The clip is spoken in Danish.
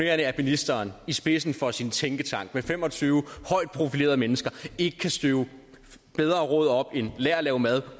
at ministeren i spidsen for sin tænketank med fem og tyve højt profilerede mennesker ikke kan støve bedre råd op end lær at lave mad